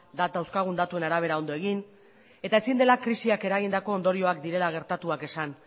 dauzkagun datuen arabera ondo egin ezin da krisiak eragindako ondorioak direla gertatuak esan